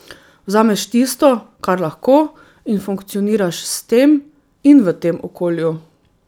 Vzameš tisto, kar lahko, in funkcioniraš s tem in v tem okolju.